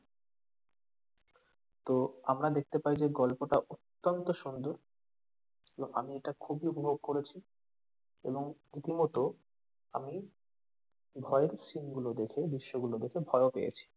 তো আমরা দেখতে পাই যে গল্পটা অত্যন্ত সুন্দর এবং আমি এটা খুবই উপভোগ করেছি এবং রীতিমতো আমি ভয়ের scene গুলো দেখে দৃশ্য গুলো দেখে ভয় ও পেয়েছি।